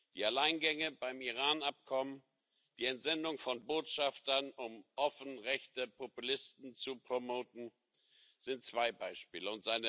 Die Alleingänge beim Iran Abkommen, die Entsendung von Botschaftern, um offen rechte Populisten zu promoten, sind zwei Beispiele.